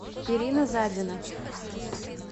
ирина задина